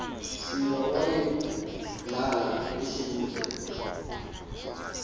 siva wayeblala esibuza